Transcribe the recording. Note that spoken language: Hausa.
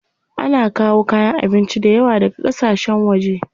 Ana kawo kayan abinci dayawa daga ƙasashen waje.